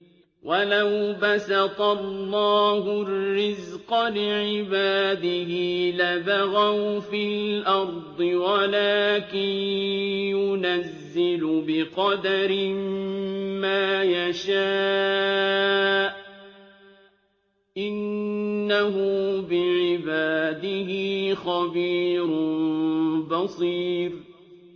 ۞ وَلَوْ بَسَطَ اللَّهُ الرِّزْقَ لِعِبَادِهِ لَبَغَوْا فِي الْأَرْضِ وَلَٰكِن يُنَزِّلُ بِقَدَرٍ مَّا يَشَاءُ ۚ إِنَّهُ بِعِبَادِهِ خَبِيرٌ بَصِيرٌ